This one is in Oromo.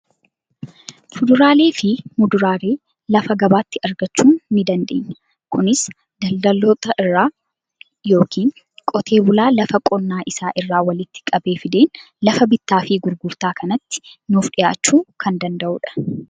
Fuduraalee fi muduraalee lafa gabaatii argachuu ni dandeenya. Kunis daldaltoota irraa yookiin qotee bulaa lafa qonnaa isaa irraa walitti qabee fideen lafa bittaa fi gurgurtaa kanatti nuuf dhiyaachuu kan danda'udha.